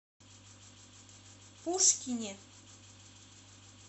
пушкине